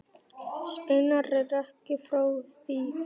Steinar er ekki frá því.